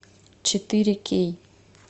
четыре кей